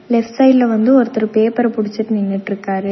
Left சைடுல வந்து ஒருத்தரு பேப்பர புடிச்சிட் நின்னுட்ருக்காரு.